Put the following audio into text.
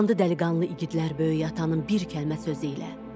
Atlandı dəliqanlı igidlər Böyük atanın bir kəlmə sözü ilə.